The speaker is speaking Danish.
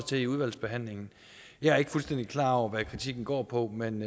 til i udvalgsbehandlingen jeg er ikke fuldstændig klar over hvad kritikken går på men